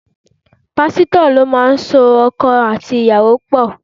Pásítọ̀ lo máa so ọkọ àti ìyàwó pọ̀.